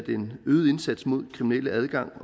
en øget indsats mod kriminel adgang